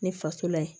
Ne faso la yen